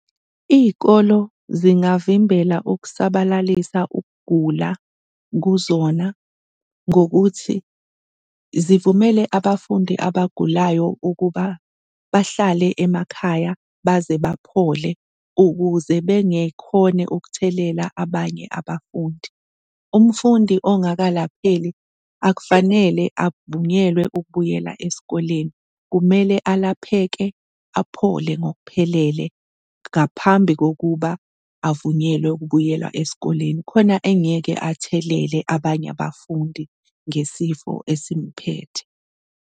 Iy'kolo zingavimbela ukusabalalisa ukugula kuzona ngokuthi zivumele abafundi abagulayo ukuba bahlale emakhaya baze baphole ukuze bengekhone ukuthelela abanye abafundi. Umfundi ongakalapheki akufanele abavunyelwe ukubuyela esikoleni, kumele alapheke aphole ngokuphelele ngaphambi kokuba avunyelwe ukubuyela esikoleni khona engeke athelele abanye abafundi ngesifo esimphethe.